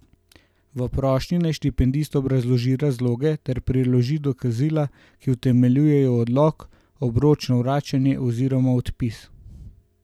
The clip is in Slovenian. V prošnji naj štipendist obrazloži razloge ter priloži dokazila, ki utemeljujejo odlog, obročno vračanje oziroma odpis.